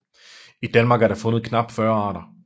I Danmark er der fundet knap 40 arter